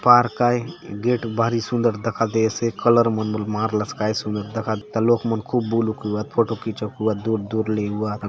पार्क आय गेट भारी सुंदर दखा देयसे कलर मन बले मारला से काय सुंदर दखा एथा लोक मन खुब बुलुक एवात फोटो खिचाउक एवात दूर- दूर ले एवात ।